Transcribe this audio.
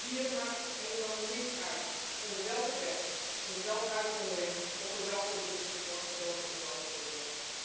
Want voor dieren maakt het helemaal niets uit onder welke wet, onder welke uitzondering of voor welk product ze worden gedood in laboratoria.